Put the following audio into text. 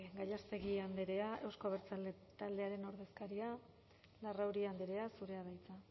gallástegui andrea euzko abertzaleak taldearen ordezkaria larrauri andrea zurea da hitza